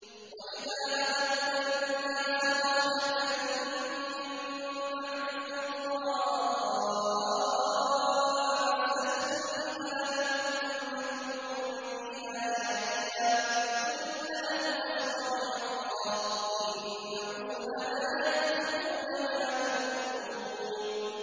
وَإِذَا أَذَقْنَا النَّاسَ رَحْمَةً مِّن بَعْدِ ضَرَّاءَ مَسَّتْهُمْ إِذَا لَهُم مَّكْرٌ فِي آيَاتِنَا ۚ قُلِ اللَّهُ أَسْرَعُ مَكْرًا ۚ إِنَّ رُسُلَنَا يَكْتُبُونَ مَا تَمْكُرُونَ